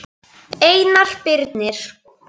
Einar Birnir.